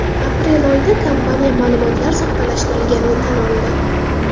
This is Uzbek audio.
Aprel oyida kompaniya ma’lumotlar soxtalashtirilganini tan oldi.